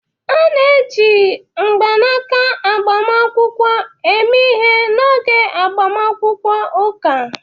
A na-eji mgbanaka agbamakwụkwọ eme ihe n'oge agbamakwụkwọ ụka